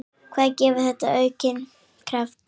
Það gefur manni aukinn kraft.